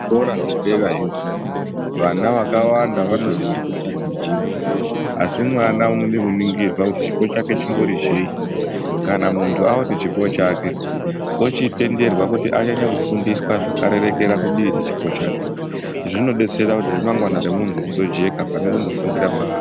Zvikora zvedera yo vana vakawanda vanosise kutaticha asi mwana unode kuningira kuti chipo chake chimbori chei Kana muntu aone chipo chake ochitenderwa kuti anyanye kufundiswa zvakarerekera kudii rechipo chake zvinodetsera kuti remangwana rwmuntu rizojeka pane kufundira mahaa.